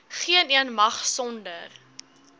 geeneen mag sonder